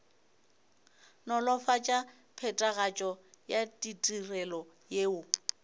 nolofatša phethagatšo ya ditirelo yeo